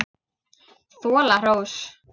Þola hrós.